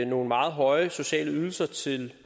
nogle meget høje sociale ydelser til